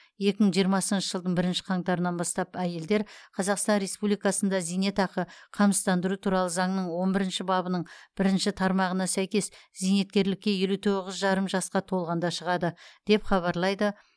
екі мың жиырмасыншы жылдың бірінші қаңтарынан бастап әйелдер қазақстан республикасында зейнетақымен қамсыздандыру туралы заңның он бірінші бабының бірінші тармағына сәйкес зейнеткерлікке елу тоғыз жарым жасқа толғанда шығады деп хабарлайды